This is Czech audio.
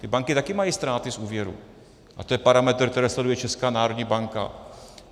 Ty banky taky mají ztráty z úvěrů a to je parametr, který sleduje Česká národní banka.